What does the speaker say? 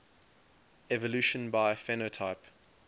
evolution by phenotype